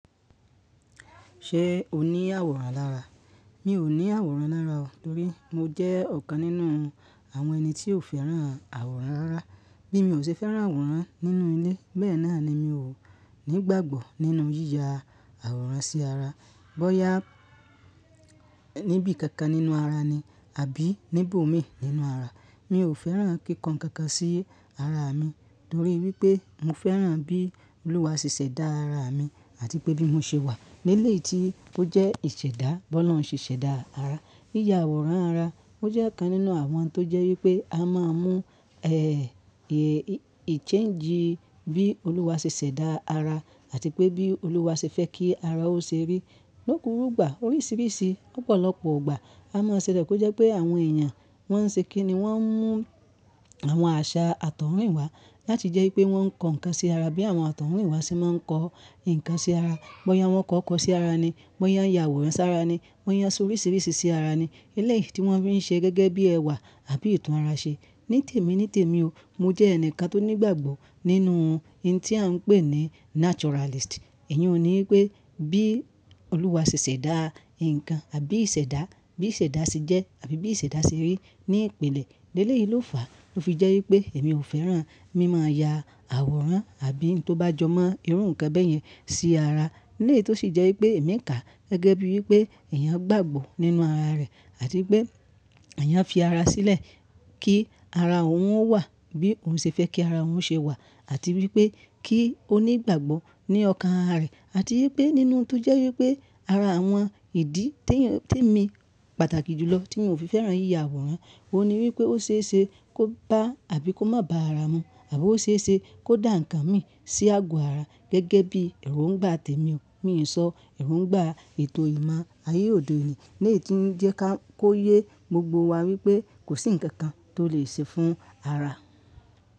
Ṣé o ní àwòrán lára? Mi ò ní àwòrán lára torí mo jẹ́ ọ̀kan nínú àwọn ẹni tí ò fẹ́ràn àwòrán rára. Bí mi ò ṣe fẹ́ràn àwòrán nínú ilé, bẹ́ẹ̀ náà ni mi ò nígbàgbọ́ nínú yíya àwòrán sí ara. Bọ́ya níbí kankan nínú ara ni àbí níbòmíì nínú ara, mi ò fẹ́ràn kí kan nkankan sí ara mi torí wípé mo fẹ́ràn bí Olúwa ṣe ṣẹ̀dá ara mi àti pé bí mo ṣe wà. Lélè yìí tí ó jẹ́ ìṣẹ̀dá, bọ́lọ̀ún ṣè ṣẹ̀dá ara. Yíya àwòrán ara ó jẹ́ ọ̀kan nínú àwọn ń tó jẹ́ wípé a máa ń mú, ẹ, ẹ, ìchéǹjì bí Olúwa ṣe ṣẹ̀dá ara àti pé bí Olúwa ṣe fẹ́ kí ara ó ṣe rí. Lókùrúgbà, oríṣiríṣi lọ́pọ̀lọpọ̀ ọgbà a máa ṣẹ̀lẹ̀ pé ó jẹ́ pé àwọn èèyàn wọ́n ń ṣe kí ni wọ́n ń mú àwọn àṣà àtọ̀húnrìnwá láti jẹ́ wípé wọ́n ń kó ǹkan sí ara bí àwọn àtọ̀húnrìnwá ṣe máa ń kó ǹkan sí ara. Bóyá wọn kó òkọ̀ sí ara ni, bóyá ya àwòrán sára ni, wọ́n yan oríṣiríṣi sí ara ni. Élèyìí tí wọ́n fi ń ṣe gẹ́gẹ́ bí ẹwà àbí ìtun ara ṣe. Ní tèmi ní tèmi o, mo jẹ́ ẹnìkan tó nígbàgbọ́ nínú ohun tí a ń pè ní naturalist. Ìyọ̀un ni wípé bí Olúwa ṣe ṣẹ̀dá ǹkan àbí ìṣẹ̀dá, bí ìṣẹ̀dá ṣe jẹ́ àbí bí ìṣẹ̀dá ṣe rí ní ìpìlẹ̀. Lélè yìí ló fàá ló fi jẹ́ wípé èmi ò fẹ́ràn mí máa ya àwòrán àbí n tó bá jọ mọ́ irú ǹkan bẹ́ẹ̀ yẹn sí ara. Eleyii tó sì jẹ́ wípé èmi ń kà gẹ́gẹ́ bí wípé èèyàn gbàgbọ́ nínú ara rẹ̀ àti pé èèyàn fi ara sílẹ̀ kí ara òun ó wà bí òun ṣe fẹ́ kí ara òun ṣe wà àti wípé kí ó nígbàgbọ́ ní ọkàn ara rẹ̀ àti wípé nínú ohun tó jẹ́ wípé ara àwọn ìdí tí èèyàn, tí èmi pàtàkì jùlọ tí mo fi fẹ́ràn yíya àwòrán, òun ni wípé ó ṣe é ṣe kó bá àbí kó má bá ara mu àbí ó ṣe é ṣe kó dà ǹkan mi sí àgò ara gẹ́gẹ́ bí ẹ̀rò ń gbà tèmi o. Mi lè sọ ẹ̀rò ń gbà ètò ìmọ̀ ayé òde òní léyi tí ń jẹ́ ká kó yé gbogbo wa wípé kò sí ǹkan kan tó lè ṣe fún ara.